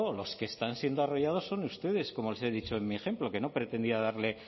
los que están siendo arrollados son ustedes como les he dicho en mi ejemplo que no pretendía darle